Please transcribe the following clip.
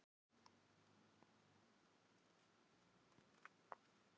Þú- þú ert að grínast stamaði Thomas og fölnaði.